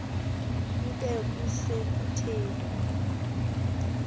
kube kuse kuthe